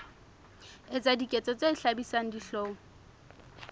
etsa diketso tse hlabisang dihlong